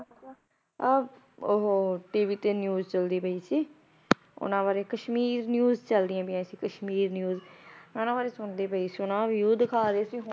ਅਹ ਉਹ TV ਤੇ news ਚੱਲਦੀ ਪਈ ਸੀ ਉਹਨਾਂ ਬਾਰੇ ਕਸ਼ਮੀਰ news ਚੱਲਦੀਆਂ ਪਈਆਂ ਸੀ ਕਸ਼ਮੀਰ news ਉਹਨਾਂ ਬਾਰੇ ਸੁਣਦੀ ਪਈ ਸੀ ਉਹਨਾਂ ਦਾ view ਦਿਖਾ ਰਹੇ ਸੀ।